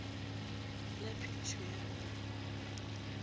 la phedišo ya go ba